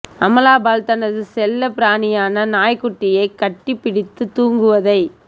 அமலா பால் தனது செல்லபிராணியான நாய்க் குட்டியை கட்டி பிடித்து தூங்குவதை